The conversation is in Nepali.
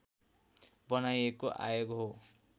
बनाइएको आयोग हो